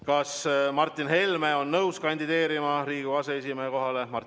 Kas Martin Helme on nõus kandideerima Riigikogu aseesimehe kohale?